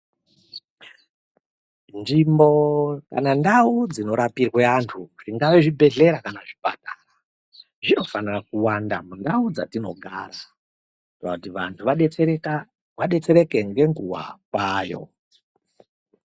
Nzvimbo kana ndau dzinorapirwe antu zvingave zvibhedhlera kana zvipatara, zvinofanira kuwanda mundau dzatinogara kuitira kuti antu adetsereke ngenguwa kwayo.